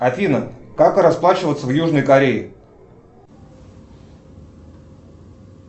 афина как расплачиваться в южной корее